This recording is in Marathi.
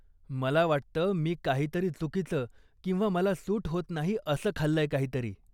मला वाटतं मी काहीतरी चुकीचं किंवा मला सूट होत नाही असं खाल्लंय काहीतरी.